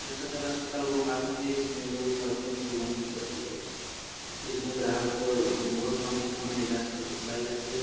यह सदर अस्पताल गोपालगंज है। इसमें लोगों को सुविधा मिल जाती है। इसमें ग्राहकों को बहुत काम किस्तों में इलाज करवाई जाती है।